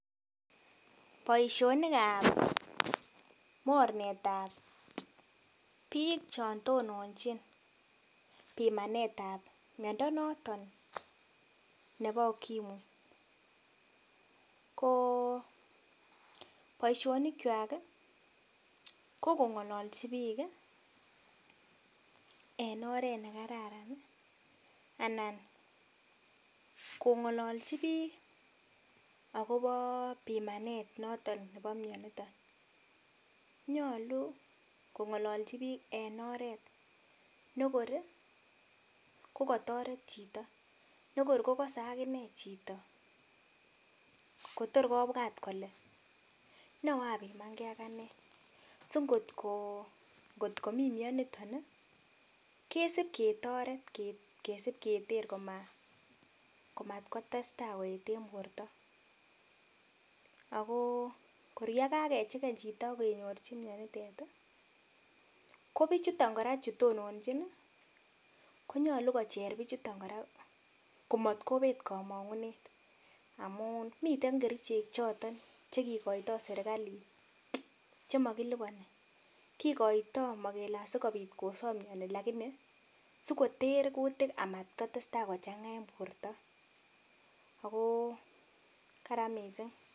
Boisionik ab mornet ab biik che tononchin pimanet ab miando natet nebo ukimwi ko boisionikwak kogongokalchi biik en oret ne kararan anan kongolchi biik agobo pimanet noton nebo mianiton nyalu kongallchi biik en oret negor kokaotoret chito negor kogose agine chito kotor kobwat kole nababimangee ak anee asigot komii mianitoni kosipketer komasibkotestai en borto agokor kagechen chito agenyorchi mianitet kobichuton kora chutonanchin konyalu kocher bichutet kora komotkonet komongunet amun miten komongunet nyin choton kigoito sirgalit chemagiloboni mogikoito kele asigobit kosob mianitoni lakini asikoter kutik asimatkotestai kochanga en borto ago kararan missing